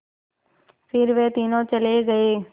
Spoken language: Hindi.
फिर वे तीनों चले गए